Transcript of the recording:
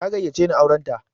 Ta gayyace ni auran ta.